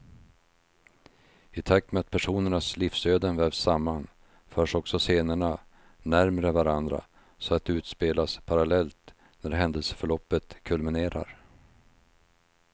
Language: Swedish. I takt med att personernas livsöden vävs samman, förs också scenerna närmre varandra så att de utspelas parallellt när händelseförloppet kulminerar.